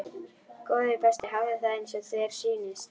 Góði besti, hafðu það eins og þér sýnist